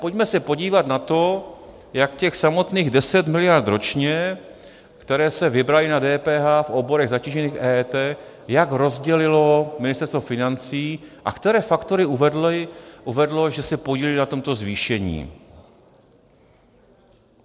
Pojďme se podívat na to, jak těch samotných 10 miliard ročně, které se vybraly na DPH v oborech zatížených EET, jak rozdělilo Ministerstvo financí a které faktory uvedlo, že se podílely na tomto zvýšení.